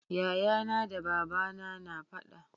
yaya na da babana na faɗa